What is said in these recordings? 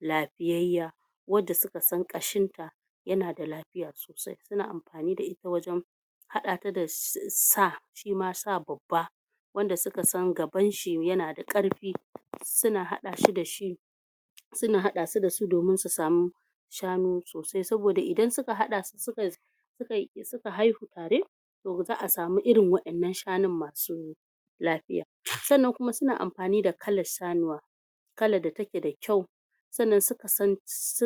lafiyayya wanda suka san ƙashin ta yana da lafiya sosai suna amfani da ita wajen haɗa ta da sa shima sa babba wanda suka san gabanshi yana da ƙarfi suna haɗa shi da shi suna haɗa su da su domin su samu shanu sosai saboda idan suka haɗa su suka haihu tare to ba za'a samu irin wa'ennan shanun masu lafiya sannan kuma suna amfani da kalar sanuwa kalar da take da kyau sannan suka san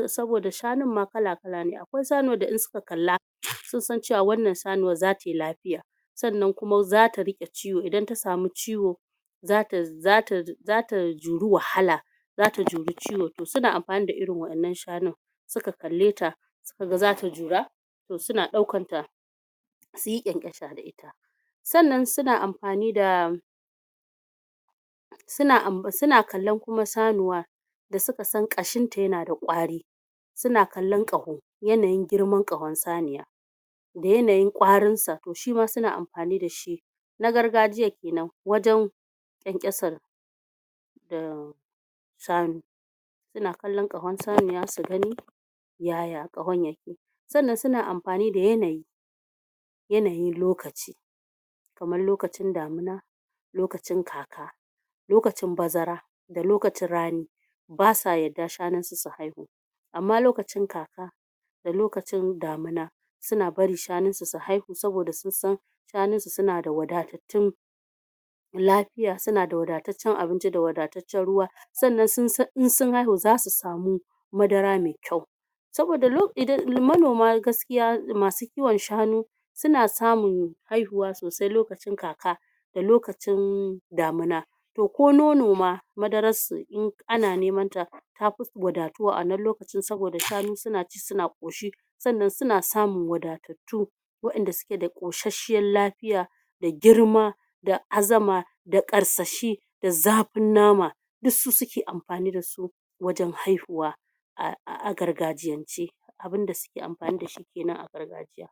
saboda shanun ma kala-kala ne akwai shanuwar da in suka kalla sun san cewa wannan sanuwar zata yi lafiya sannan kuma zata riƙe ciwo idan ta samu ciwo zata zata juri wahala zata juri ciwo to suna amfani da irin wa'ennan shanun suka kalle ta suka ga zata jura to suna ɗaukan ta suyi ƙyanƙyasa da ita sannan suna amfani da suna kallon kuma sanuwa da suka san ƙashinta yana da ƙwari suna kallon ƙaho yanayin girman ƙahon saniya da yanayin ƙwarin sa to shima suna amfani da shi na gargajiyar kenan wajen ƙyanƙyasar umm shanu suna kallon ƙahon saniya su gani yaya ƙahon yake sannan suna amfani da yanayi yanayin lokaci kaman lokacin damina lokacin kaka lokacin bazara da lokacin rani basa yadda shanunsu su haihu amma lokacin kaka da lokacin damina suna bari shanun su su haihu saboda sun san shanun su suna da wadatattun lafiya suna da wadataccen abinci da wadataccen ruwa sannan sun san in sun haihu zasu samu madara me kyau saboda manoma gaskiya masu kiwon shanu suna samun haihuwa sosai lokacin kaka da lokacin damina to ko nono ma madarar sa ana nemanta tafi wadatuwa a wannan lokacin saboda shanu suna ci suna ƙoshi sannan suna samun wadatattun wa'enda suke da ƙoshashshiyar lafiya da girma da azama da ƙarsashi da zafin nama duk su suke amfani da su wajen haihuwa a gargajiyance abunda suke amfani da shi kenan a gargajiya